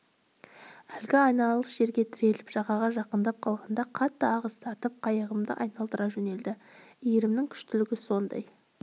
әлгі айналыс жерге тіреліп жағаға жақындап қалғанда қатты ағыс тартып қайығымды айналдыра жөнелді иірімінің күштілігі сондай